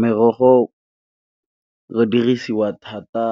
Merogo re dirisiwa thata